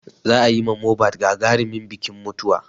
Za a yi ma Mohbad gagarimin bikin mutuwa.